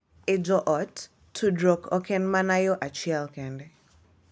E joot, tudruok ok en mana yo achiel kende .